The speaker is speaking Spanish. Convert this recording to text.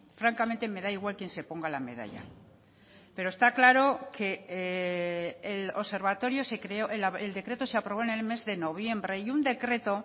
francamente me da igual quien se ponga la medalla pero está claro que el observatorio se creó el decreto se aprobó en el mes de noviembre y un decreto